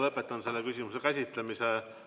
Lõpetan selle küsimuse käsitlemise.